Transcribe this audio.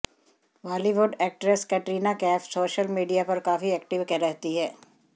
Bollywood actress Katrina Kaif social media पर काफी active रहती हैं